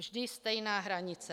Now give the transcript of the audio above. Vždy stejná hranice.